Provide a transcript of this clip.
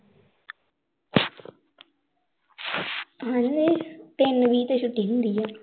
ਹਾਂਜੀ ਤਿੰਨ ਵੀਹ ਤੇ ਛੁੱਟੀ ਹੁੰਦੀ ਆ